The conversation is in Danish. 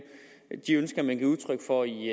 de ønsker man giver udtryk for i